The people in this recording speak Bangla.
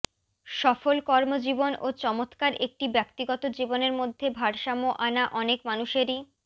সফল কর্মজীবন ও চমৎকার একটি ব্যক্তিগত জীবনের মধ্যে ভারসাম্য আনা অনেক মানুষেরই